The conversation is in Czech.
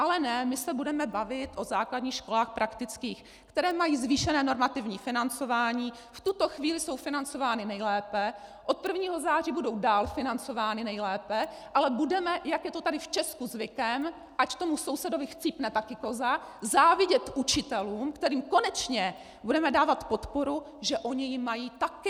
Ale ne, my se budeme bavit o základních školách praktických, které mají zvýšené normativní financování, v tuto chvíli jsou financovány nejlépe, od 1. září budou dál financovány nejlépe, ale budeme, jak je to tady v Česku zvykem, ať tomu sousedovi chcípne také koza, závidět učitelům, kterým konečně budeme dávat podporu, že oni ji mají také!